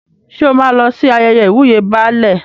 Ṣé o máa lọ sí ayẹyẹ ìwúyè Baálẹ̀?